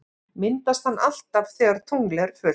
Myndast hann alltaf þegar tungl er fullt?